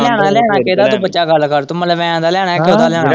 ਲੈਣਾ-ਲੈਣਾ ਕਿਹੜਾ ਬੱਚਾ ਗੱਲ ਕਰ ਤੂੰ ਮਲਵੈਣ ਦਾ ਲੈਣਾ ਕੀ ਕਿਹੜਾ ਲੈਣਾ।